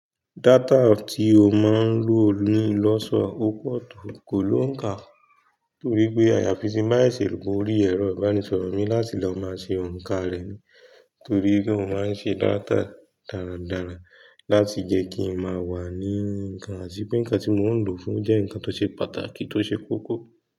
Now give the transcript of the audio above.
Data tí o máa ń lò ló ń lọ́ sọ ópó ọ̀tọ̀ kò ló ń kà, torí pé àyàfi tí máa sẹ̀sẹ̀ wo ori ẹ̀rọ ìbánisọ̀rọ̀ mi láti lọ máa ṣe òǹkà rẹ̀ ni, torí pé ó máa ń ṣe data dáradára láti jẹ́ kí ń máa wà ní nǹkan, àṣìpẹ́ nǹkan tí mò ń lò fún jẹ́ nǹkan tó ṣe pàtàkì tó ṣe kókó.